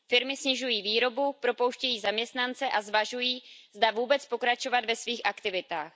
Firmy snižují výrobu, propouštějí zaměstnance a zvažují, zda vůbec pokračovat ve svých aktivitách.